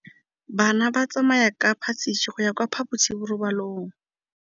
Bana ba tsamaya ka phašitshe go ya kwa phaposiborobalong.